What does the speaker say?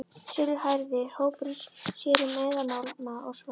Silfurhærði hópurinn sér um eðalmálma og sverð.